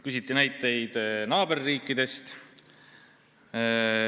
Küsiti näiteid naaberriikidest.